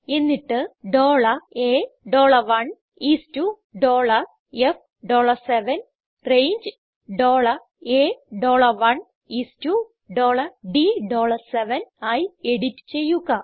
എന്നിട്ട് A1 is to F7 range A1 is to D7 ആയി edit ചെയ്യുക